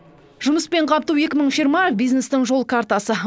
жұмыспен қамту екі мың жиырма бизнестің жол картасы